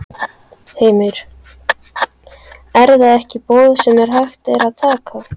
Heimir: Er það ekki boð sem hægt er að taka?